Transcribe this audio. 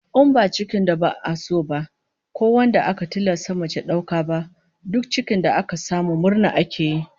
In ba cikin da ba'a so ba, ko wanda aka tilasta mace dauka ba, duk cikin da aka samu murna ake yi